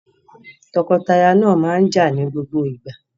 Tọkọtaya náà máa ń jà ní gbogbo ìgbà.